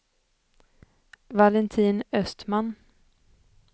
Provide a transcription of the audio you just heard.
Valentin Östman